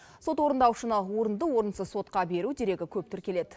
сот орындаушыны орынды орынсыз сотқа беру дерегі көп тіркеледі